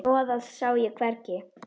Hnoðað sá ég hvergi.